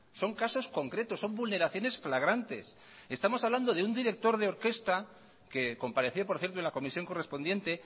son casos concretos son vulneraciones flagrantes estamos hablando de un director de orquesta que compareció por cierto en la comisión correspondiente